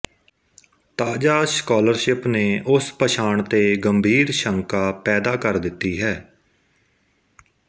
ਤਾਜ਼ਾ ਸਕਾਲਰਸ਼ਿਪ ਨੇ ਉਸ ਪਛਾਣ ਤੇ ਗੰਭੀਰ ਸ਼ੰਕਾ ਪੈਦਾ ਕਰ ਦਿੱਤੀ ਹੈ